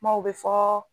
Kumaw bɛ fɔ